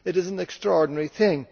It is an extraordinary thing.